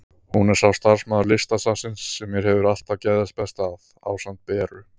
Hún er sá starfsmaður Listasafnsins sem mér hefur alltaf geðjast best að, ásamt Beru.